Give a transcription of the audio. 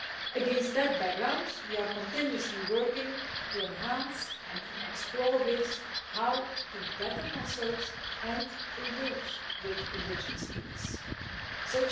Against that background, we are constantly working to enhance and explore ways of consulting and engaging with indigenous peoples more effectively.